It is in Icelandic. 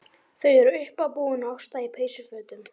Þau eru uppábúin og Ásta í peysufötum.